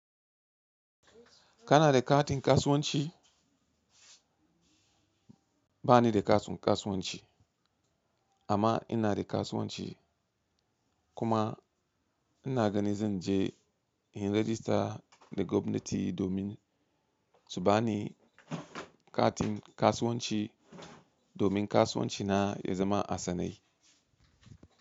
Kana da katin kasuwanci? Ba ni da kasun kasuwanci amma ina da kasuwanci kuma ina gani zan je in rejista da gwamnati domin su ba ni katin kasuwanci domin kasuwancina ya zama a sanai.